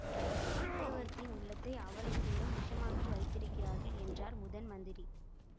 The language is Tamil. சக்கரவர்த்தியின் உள்ளத்தை அவ்வளவு தூரம் விஷமாக்கி வைத்திருக்கிறார்கள் என்றார் முதன்மந்திரி